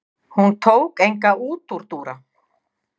Hún tók enga útúrdúra.